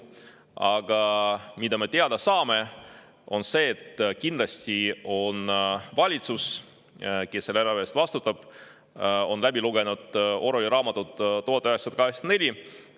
Aga mida me teada saame, on see, et kindlasti on valitsus, kes selle eelarve eest vastutab, läbi lugenud Orwelli raamatu "1984".